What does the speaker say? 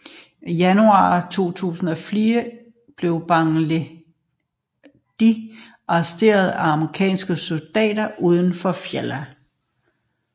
I januar 2004 blev Baghdadi arresteret af amerikanske soldater uden for Fallujah